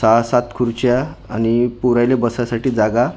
सहा-सात खुडच्या आणि पोरांले बसायसाठी जागा--